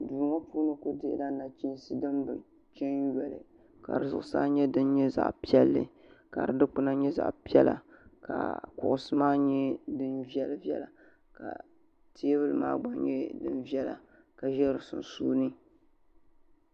duu ŋɔ puuni ku dihila nachiinsi din bi chɛ n jɛli ka di zuɣusaa nyɛ din nyɛ zaɣ piɛlli ka di dikpuna nyɛ zaɣ piɛla ka kuɣusi maa nyɛ din viɛla ka teebuli maa gba nyɛ din viɛla ka ʒɛ di sunsuuni